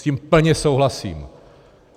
S tím plně souhlasím.